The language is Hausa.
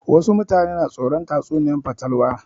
Wasu mutane na tsoron tatsuniyar fatalwa